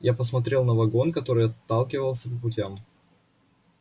я посмотрел на вагон который отталкивался по путям